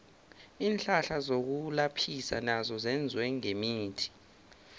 iinhlahla zokulaphisa nazo zenziwe ngemithi